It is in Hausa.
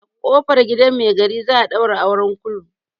A ƙofar gidan mai gari za a ɗaura auren kulu.